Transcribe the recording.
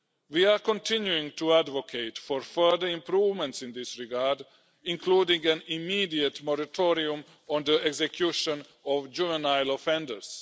We are continuing to advocate for further improvements in this regard, including an immediate moratorium on the execution of juvenile offenders.